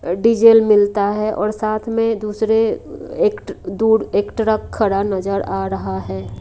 Diesel मिलता है और साथ में दूसरे एक दूर एक ट्रक खड़ा नजर आ रहा है।